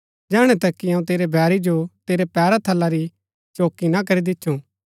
जैहणै तक कि अऊँ तेरै बैरी जो तेरै पैरा थला री चौकी ना करी दिच्छु